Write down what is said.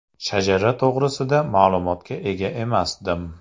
Shajara to‘g‘risida ma’lumotga ega emasdim.